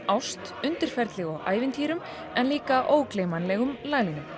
ást undirferli og ævintýrum en líka ógleymanlegum laglínum